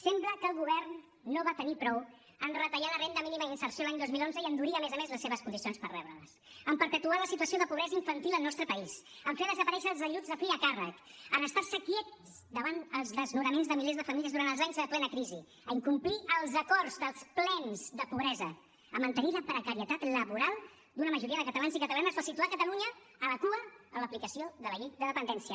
sembla que el govern no en va tenir prou en retallar la renda mínima d’inserció l’any dos mil onze i endurir a més a més les seves condicions per rebre les en perpetuar la situació de pobresa infantil al nostre país en fer desaparèixer els ajuts de fill a càrrec en estar se quiets davant els desnonaments de milers de famílies durant els anys de plena crisi a incomplir els acords dels plens de pobresa a mantenir la precarietat laboral d’una majoria de catalans i catalanes o a situar catalunya a la cua en l’aplicació de la llei de dependència